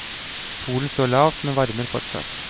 Solen står lavt, men varmer fortsatt.